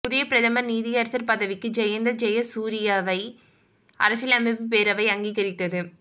புதிய பிரதம நீதியரசர் பதவிக்கு ஜயந்த ஜயசூரியவை அரசியலமைப்பு பேரவை அங்கீகரித்தது